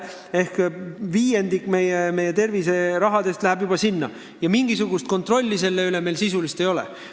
Seega kokku viiendik meie terviserahast läheb sinna, aga mingisugust sisulist kontrolli selle üle ei ole.